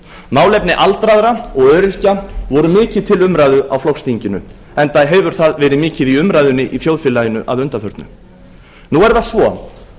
málefni aldraðra og öryrkja voru mikið til umræðu á flokksþinginu enda hefur það verið mikið í umræðunni í þjóðfélaginu að undanförnu nú er það svo